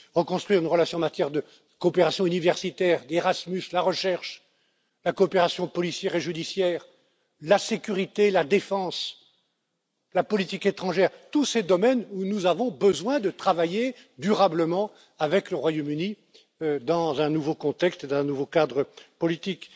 Il va falloir reconstruire une relation en matière de coopération universitaire, d'Erasmus, la recherche, la coopération policière et judiciaire, la sécurité, la défense, la politique étrangère, tous ces domaines où nous avons besoin de travailler durablement avec le Royaume Uni dans un nouveau contexte et dans un nouveau cadre politique.